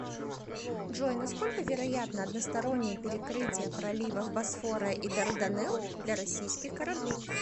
джой насколько вероятно одностороннее перекрытие проливов босфора и дарданелл для российских кораблей